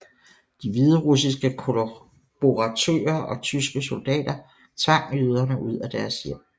De hviderussiske kollaboratører og tyske soldater tvang jøderne ud af deres hjem